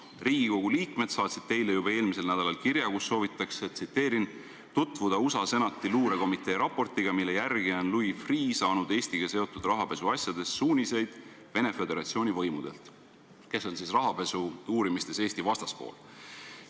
Riigikogu liikmed saatsid teile juba eelmisel nädalal kirja, kus soovitakse – tsiteerin – tutvuda USA Senati luurekomitee raportiga, mille järgi on Louis Freeh saanud Eestiga seotud rahapesuasjades suuniseid Venemaa Föderatsiooni võimudelt, kes on siis rahapesu uurimisel Eesti vastaspool.